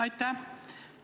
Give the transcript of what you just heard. Aitäh!